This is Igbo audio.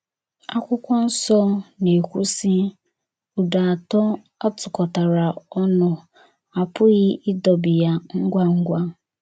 Akwụkwọ nso na - ekwu sị: “ Ụdọ atọ a tụkọtara ọnụ, a pụghị ịdọbi ya ngwa ngwa. ”